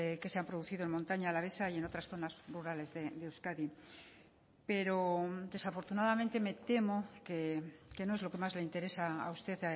que se han producido en montaña alavesa y en otras zonas rurales de euskadi pero desafortunadamente me temo que no es lo que más le interesa a usted